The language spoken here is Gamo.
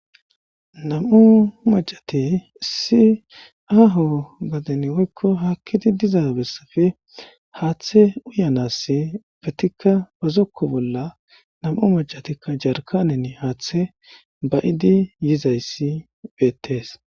Nam'u majate si aho gaden woykko haakkidi diza bessafe haaththe uyanas bettikka bazokko bolla nam'u macatikka jarkanen haaththe ba'idi yizayssi beettees.